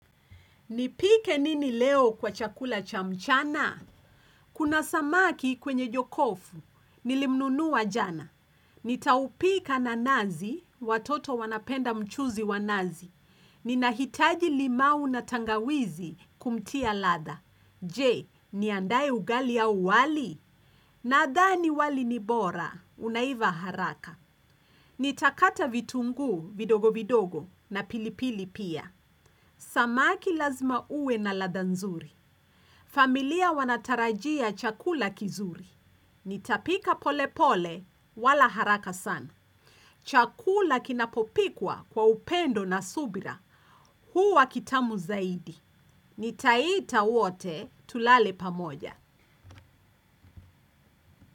Nipike nini leo kwa chakula cha mchana? Kuna samaki kwenye jokofu. Nilimnunua jana. Nitaupika na nazi, watoto wanapenda mchuzi wa nazi. Ninahitaji limau na tangawizi kumtia ladha. Je, niandae ugali au wali? Nadhani wali ni bora, unaiva haraka. Nitakata vitunguu, vidogo vidogo na pilipili pia. Samaki lazima uwe na ladha nzuri. Familia wanatarajia chakula kizuri. Nitapika pole pole, wala haraka sana. Chakula kinapopikwa kwa upendo na subira. Huwa kitamu zaidi. Nitaita wote, tulale pamoja.